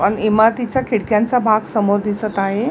पण इमारतीचा खिडक्यांचा भाग समोर दिसत आहे.